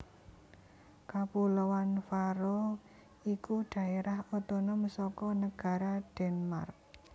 Kapuloan Faroe iku dhaérah otonom saka negara Denmark